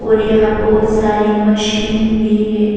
और यहां बहुत सारी मशीन भी है.